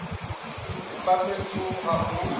u vhumba fhethu ha u